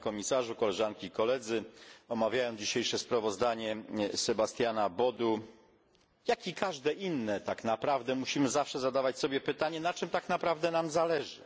Panie Komisarzu! Omawiając dzisiejsze sprawozdanie Sebastiana Bodu jak i każde inne tak naprawdę musimy zawsze zadawać sobie pytanie na czym tak naprawdę nam zależy.